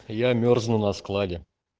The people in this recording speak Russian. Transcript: я мёрзну на складе